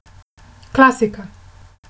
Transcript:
Klasika!